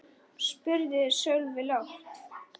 spurði Sölvi lágt.